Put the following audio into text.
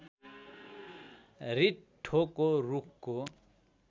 रिट्ठोको रूखको